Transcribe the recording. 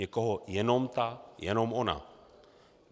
Někoho jenom ta, jenom ona.